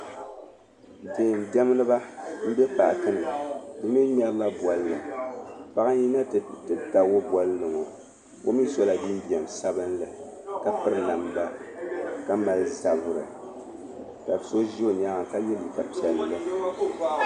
Deendiɛmdiba m-be paaki ni bɛ mi ŋmɛrila bolli. Paɣa n-yina nti tabigi bolli ŋɔ. O mi sɔla jinjam sabilinli ka piri namda ka mali zabiri ka so za o nyaaŋga ka ye liika piɛlli.